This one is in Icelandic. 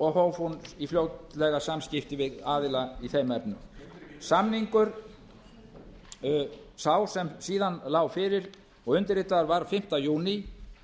og hóf hún fljótlega samskipti við aðila í þeim efnum samningur sá sem síðan lá fyrir og undirritaður var fimmti júní